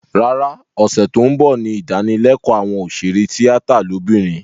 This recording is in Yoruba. Rárá, ọ̀sẹ̀ tó ń bọ̀ ní ìdánilékòó àwọn òṣèré tíátà lóbìnrin